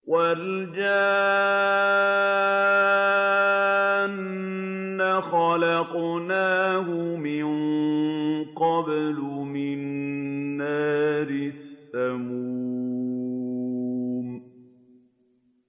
وَالْجَانَّ خَلَقْنَاهُ مِن قَبْلُ مِن نَّارِ السَّمُومِ